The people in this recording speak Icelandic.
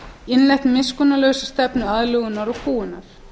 innleitt miskunnarlausa stefnu aðlögunar og kúgunar